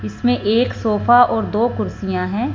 इसमें एक सोफा और दो कुर्सियां है।